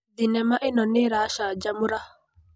Thenema ĩno nĩĩracanjamũra.